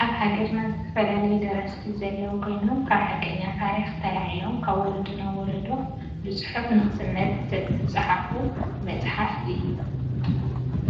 አብ ሃገርና ዝተፈላለዩ ደረስቲ ዘለው ኮይኖም ካብ ሓቀኛ ታሪክ ተላዒሎም ካብ ወሎዶ ናብ ወሎዶ ብፁሑፍ ንከሰነድ ዝተፃሕፈ መፅሓፍ እዩ